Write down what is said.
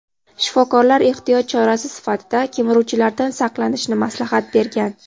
Shifokorlar ehtiyot chorasi sifatida kemiruvchilardan saqlanishni maslahat bergan.